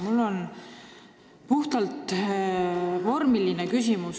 Mul on puhtalt vormiline küsimus.